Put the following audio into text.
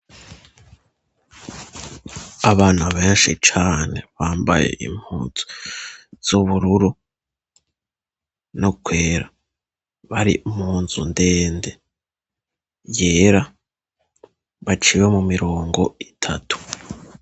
Abana benshi cane bambaye impuzu z'ubururu, no kwera, bari munzu ndende yera, baciwe mu mirongo itatu.